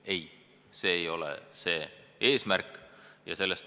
Ei, see ei ole eesmärk.